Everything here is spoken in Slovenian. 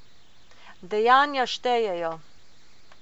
Dejanja štejejo.